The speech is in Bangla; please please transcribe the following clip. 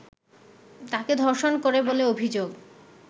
তাঁকে ধর্ষণ করে বলে অভিযোগ